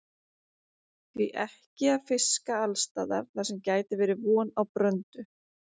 Því ekki að fiska alls staðar þar sem gæti verið von á bröndu?